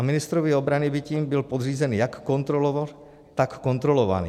A ministrovi obrany by tím byl podřízen jak kontrolor, tak kontrolovaný.